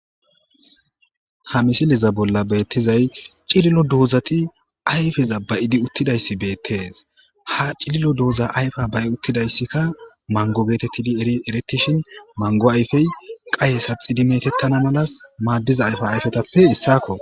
Ha misiliza bolla beettizay cililo duhuzati ayfeza bayidi uttidayssi beettees ha cililo duhuza ayfa ba'i uttidayssikka mango geetettidi erieretishin mango ayfey qaye saxidi metettana malas maaddiza ayfa ayfetappe issakko.